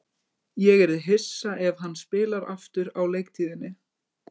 Ég yrði hissa ef hann spilar aftur á leiktíðinni.